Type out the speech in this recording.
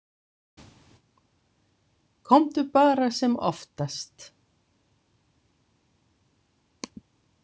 Komdu bara sem oftast